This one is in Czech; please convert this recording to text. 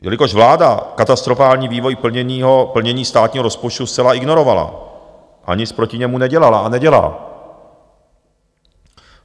Jelikož vláda katastrofální vývoj plnění státního rozpočtu zcela ignorovala a nic proti němu nedělala a nedělá.